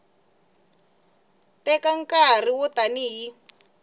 teka nkarhi wo tani hi